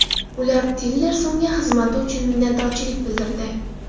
U Tillersonga xizmati uchun minnatdorlik bildirdi.